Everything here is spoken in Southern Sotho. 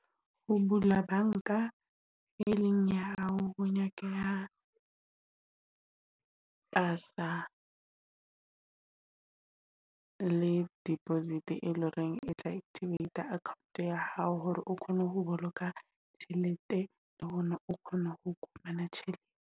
Ho bula banka, e leng ya hao ho nyakeha pasa le deposit eleng hore e tla activate account ya hao. Hore o kgone ho boloka tjhelete le teng hona o kgone ho fumana tjhelete.